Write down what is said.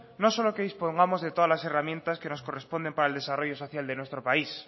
no solo que dispongamos de todas las herramientas que nos corresponden para el desarrollo social de nuestro país